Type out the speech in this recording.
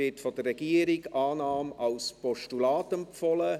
Von der Regierung wird Annahme als Postulat empfohlen.